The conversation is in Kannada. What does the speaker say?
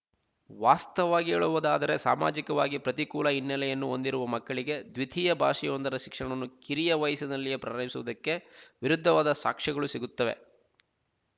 ವಾಸ್ತವವಾಗಿ ಹೇಳುವುದಾದರೆ ಸಾಮಾಜಿಕವಾಗಿ ಪ್ರತಿಕೂಲ ಹಿನ್ನೆಲೆಯನ್ನು ಹೊಂದಿರುವ ಮಕ್ಕಳಿಗೆ ದ್ವಿತೀಯ ಭಾಷೆಯೊಂದರ ಶಿಕ್ಷಣವನ್ನು ಕಿರಿಯ ವಯಸ್ಸಿನಲ್ಲಿಯೇ ಪ್ರರಯಿಸುವುದಕ್ಕೆ ವಿರುದ್ಧವಾದ ಸಾಕ್ಷ್ಯಗಳು ಸಿಗುತ್ತವೆ